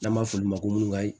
N'an b'a f'olu ma ko